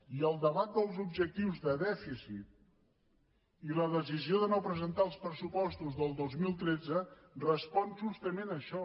i el debat dels objectius de dèficit i la decisió de no presentar els pressupostos del dos mil tretze respon justament a això